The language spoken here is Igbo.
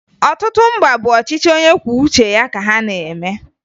Ọtụtụ mba bụ ọchịchị onyekwuouche ya ka ha na-eme